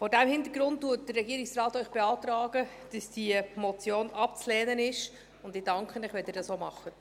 Vor diesem Hintergrund beantragt Ihnen der Regierungsrat, diese Motion abzulehnen, und ich danke Ihnen, wenn Sie dies auch tun.